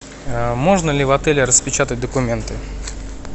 можно ли в отеле распечатать документы